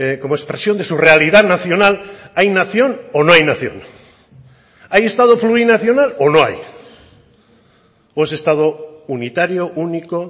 como expresión de su realidad nacional hay nación o no hay nación hay estado plurinacional o no hay o es estado unitario único